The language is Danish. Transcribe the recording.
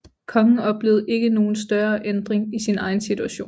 Kongen oplevede ikke nogen større ændring i sin egen situation